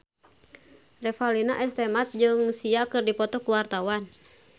Revalina S. Temat jeung Sia keur dipoto ku wartawan